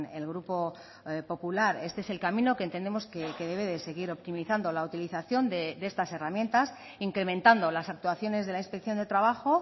el grupo popular este es el camino que entendemos que debe de seguir optimizando la utilización de estas herramientas incrementando las actuaciones de la inspección de trabajo